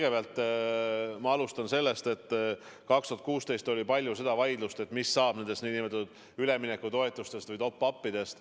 Ma alustan sellest, et 2016. aastal oli palju vaidlust, mis saab üleminekutoetustest ehk top-up'idest.